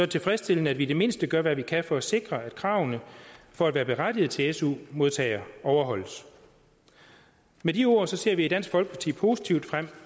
tilfredsstillende at vi i det mindst gør hvad vi kan for at sikre at kravene for at være berettiget til at være su modtager overholdes med de ord ser vi i dansk folkeparti positivt frem